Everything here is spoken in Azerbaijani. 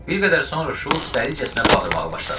Bir qədər sonra Şults dəlicəsinə bağırmağa başladı.